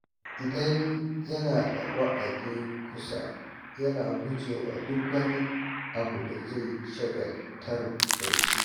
Idan yana da wa’adi kusa, yana guje wa duk wani abin da zai shagaltar da shi.